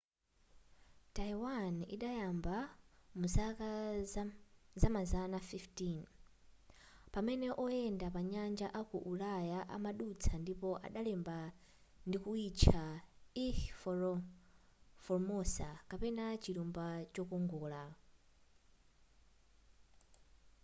taiwan idayamba muzaka zamazana 15 pamene oyenda panyanja aku ulaya amadutsa ndipo adalemba ndikuitcha ilha formosa kapena chilumba chokongola